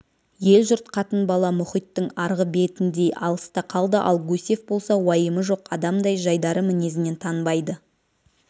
ел-жұрт қатын-бала мұхиттың арғы бетіндей алыста қалды ал гусев болса уайымы жоқ адамдай жайдары мінезінен танбайды